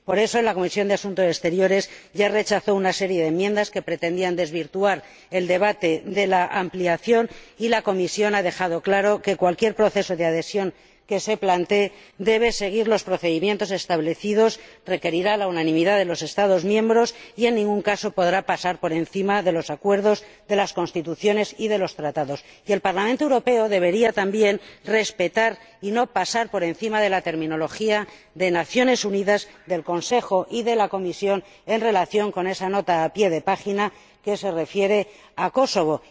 Por eso, la Comisión de Asuntos Exteriores ya rechazó una serie de enmiendas que pretendían desvirtuar el debate de la ampliación y la Comisión ha dejado claro que cualquier proceso de adhesión que se plantee debe seguir los procedimientos establecidos, requerirá la unanimidad de los Estados miembros y, en ningún caso, podrá pasar por encima de los acuerdos, de las Constituciones y de los Tratados. Y el Parlamento Europeo también debería respetar y no pasar por encima de la terminología de las Naciones Unidas, del Consejo y de la Comisión en relación con esa nota a pie de página que se refiere a Kosovo.